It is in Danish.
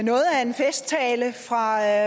at